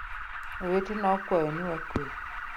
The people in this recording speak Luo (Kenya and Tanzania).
Owetena akwayo ni wakwe